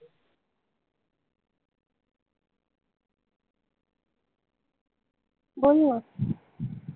बोल न